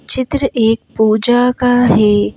चित्र एक पूजा का है।